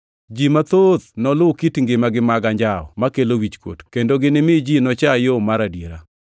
Ji mathoth noluw kit ngimagi mag anjawo makelo wichkuot, kendo ginimi ji nocha yo mar adiera.